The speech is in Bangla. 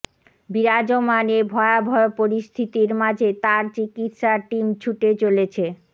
বিরাজমান এ ভয়াবহ পরিস্থিতির মাঝে তাঁর চিকিৎসা টিম ছুটে চলেছে